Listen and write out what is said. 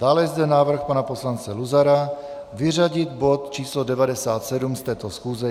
Dále je zde návrh pana poslance Luzara vyřadit bod číslo 97 z této schůze.